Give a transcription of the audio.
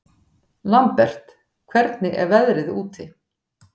Lambert, hvernig er veðrið úti?